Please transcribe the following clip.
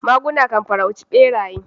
Maguna kan farauci beraye.